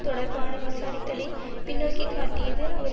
தொடர்பான விசாரித்தலை பின்னோக்கிக் காட்டியது அவர்